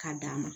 K'a d'a ma